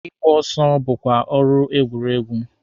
Ịgba ọsọ bụkwa ọrụ egwuregwu.